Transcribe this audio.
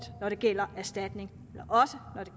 når det gælder erstatning